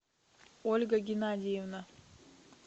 ольга геннадьевна